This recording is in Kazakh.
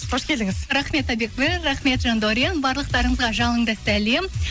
қош келдіңіз рахмет рахмет жандаурен барлықтарыңызға жалынды сәлем